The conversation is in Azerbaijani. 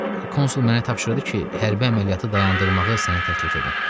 Konsul mənə tapşırdı ki, hərbi əməliyyatı dayandırmağı sənə təklif edim.